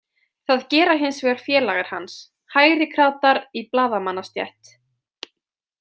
Það gera hins vegar félagar hans, hægrikratar í blaðamannastétt.